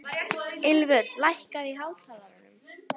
Ylfur, lækkaðu í hátalaranum.